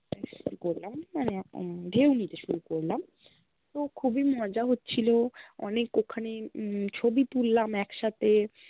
স্নান করলাম মানে উম ঢেউ নিতে সুর করলাম তো খুবই মজা হচ্ছিল, অনেক ওখানে হম ছ্বি তুললাম একসাথে